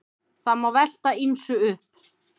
Það má velta ýmsu upp.